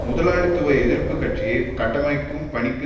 முதலாளித்துவ எதிர்ப்பு கட்சியை கட்டமைக்கும் பணிக்கு